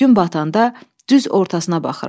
Gün batanda düz ortasına baxıram.